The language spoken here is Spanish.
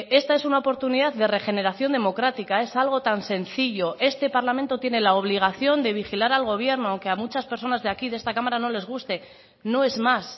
esta es una oportunidad de regeneración democrática es algo tan sencillo este parlamento tiene la obligación de vigilar al gobierno aunque a muchas personas de aquí de esta cámara no les guste no es más